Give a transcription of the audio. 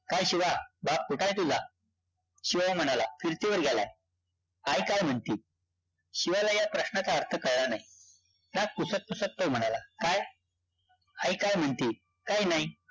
काय शिवा, बाप कुठंय तुझा? शिव म्हणाला, फिरतीवर गेलाय. आई काय म्हणती? शिवाला या प्रश्नाचा अर्थ कळला नाही. नाक पुसत-पुसत तो म्हणाला, काय? आई काय म्हणती? काई नाई.